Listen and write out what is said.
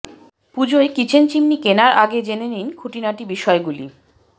পুজোয় kitchen chimney কেনার আগে জেনে নিন খুঁটিনাটি বিষয়গুলি